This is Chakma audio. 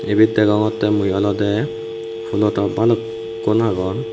ibet degongotte mui olode fhoolo top balukkun agon.